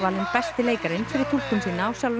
besti leikarinn fyrir túlkun sína á sjálfum